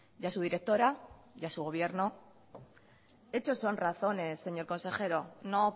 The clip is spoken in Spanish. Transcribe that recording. y a su directora a su gobierno hechos son razones señor consejero no